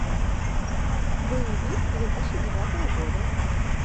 боевик две тысячи девятого года